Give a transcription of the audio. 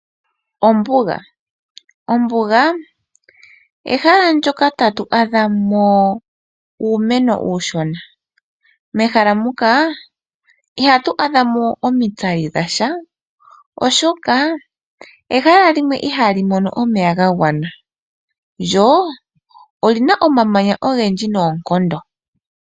Ombuga Ombuga ehala ndyoka tatu adhamo uumeno uushona. Mehala muka ihatu adhamo omitsali dhasha oshoka ehala limwe ihali mono omeya ga gwana, lyo olina omamanya ogendji noonkondo.